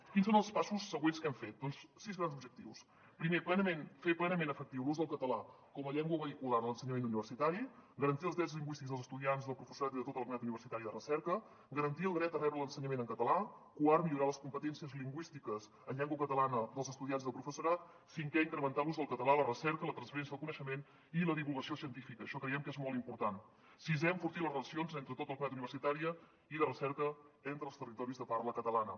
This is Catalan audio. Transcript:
quins són els passos següents que hem fet doncs sis grans objectius primer fer plenament efectiu l’ús del català com a llengua vehicular a l’ensenyament universitari garantir els drets lingüístics dels estudiants del professorat i de tota la comunitat universitària i de recerca garantir el dret a rebre l’ensenyament en català quart millorar les competències lingüístiques en llengua catalana dels estudiants i del professorat cinquè incrementar l’ús del català a la recerca la transferència del coneixement i la divulgació científica això creiem que és molt important sisè enfortir les relacions entre tota la comunitat universitària i de recerca entre els territoris de parla catalana